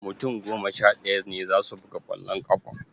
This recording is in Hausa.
Mutum goma sha ɗaya ne za su buga ƙwallon ƙafa